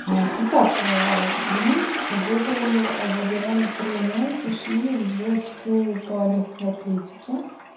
итак мы выбрали выбирали тренера и пришли уже в школу по лёгкой атлетике